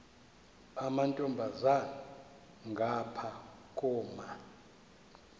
amantombazana ngapha koma